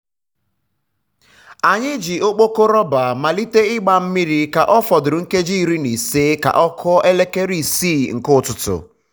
anyị ji ọkpọkọ rọba malite igba mmiri ka ọ fọdụrụ nkeji iri na ise ka ọ kụọ elekere isii nke ụtụtụ.